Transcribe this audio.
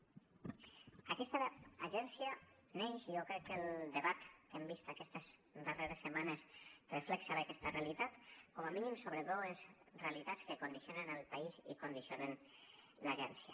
aquesta agència neix jo crec que el debat que hem vist aquestes darreres setmanes reflexa bé aquesta realitat com a mínim sobre dues realitats que condicionen el país i condicionen l’agència